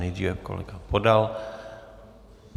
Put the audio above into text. Nejdříve kolega Podal.